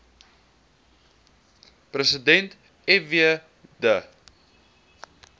president fw de